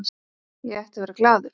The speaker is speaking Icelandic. Ég ætti að vera glaður.